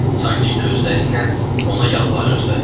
Sanki gözləri ilə ona yalvarırdı.